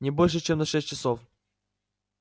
не больше чем на шесть часов